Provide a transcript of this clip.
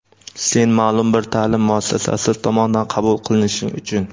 sen ma’lum bir ta’lim muassasasi tomonidan qabul qilinishing uchun.